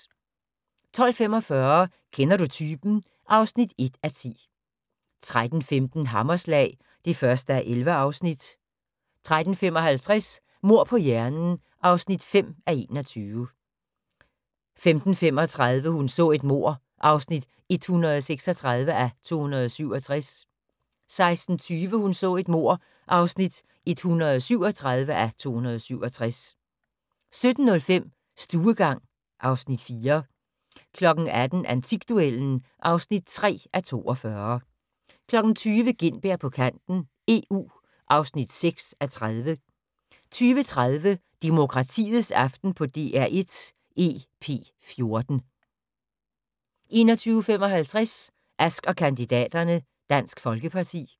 12:45: Kender du typen? (1:10) 13:15: Hammerslag (1:11) 13:55: Mord på hjernen (5:21) 15:35: Hun så et mord (136:267) 16:20: Hun så et mord (137:267) 17:05: Stuegang (Afs. 4) 18:00: Antikduellen (3:42) 20:00: Gintberg på kanten - EU (6:30) 20:30: Demokratiets aften på DR1 EP14 21:55: Ask & kandidaterne: Dansk Folkeparti